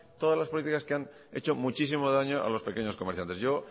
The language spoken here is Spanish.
todas las política que ha hecho muchísimo daños a los pequeños comerciantes yo